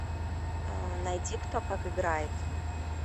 найди кто как играет